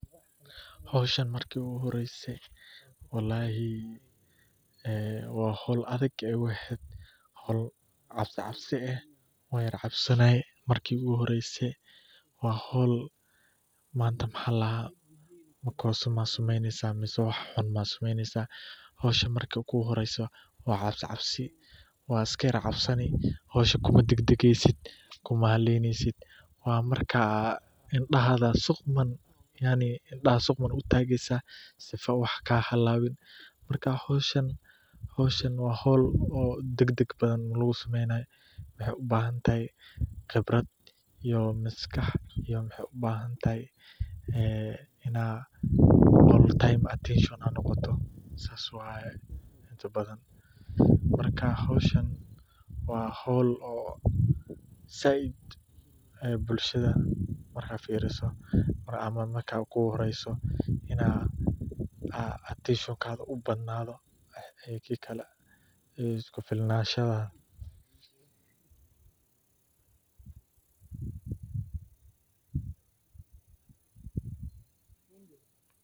Howshani marki igu horeyse walahi waa hool adag ayay igu ehed hool cabsi cabsi eh, wancabsanaye marki igu horeyse waa hool manta maxa ladahaa makosa maa sameyneysa mise hoshan marki kugu horeyso waa cabsi cabsi iskayar cabsani hoshan kuma degdegeysit iskuma haleyneysit waa marka indahaga sii quman utageysa sifoo wax kahalabin marka hoshan waa hool oo degdeg badhan lagu sameynay, maxay ubahantahay qibrad iyo maskax iyo maxay ubahantahay inad qoof time hesho aad noqoto intabadhan marka hoshan waa hool oo sayid aay bulshada markay firiso amah markay kuguhoreyso inaa aa intenshinkada uu badnado iyo kikale iskufilnashada.